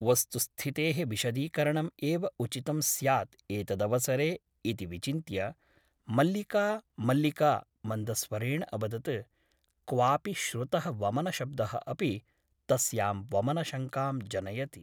वस्तुस्थितेः विशदीकरणम् एव उचितं स्यात् एतदवसरे ' इति विचिन्त्य मल्लिका मल्लिका मन्दस्वरेण अवदत् क्वापि श्रुतः वमनशब्दः अपि तस्यां वमनशङ्कां जनयति ।